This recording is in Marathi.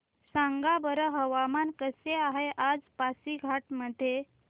सांगा बरं हवामान कसे आहे आज पासीघाट मध्ये